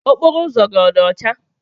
Okporo ụzọ gị ọ dị ọcha?